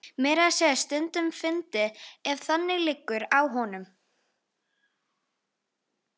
Meira að segja stundum fyndinn ef þannig liggur á honum.